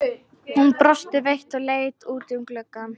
Hún brosti veikt og leit út um gluggann.